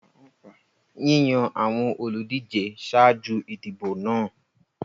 Yíyàn àwọn olùdíje ṣáájú ìdìbò náà.